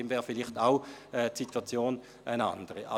Die Situation wäre dann vielleicht eine andere.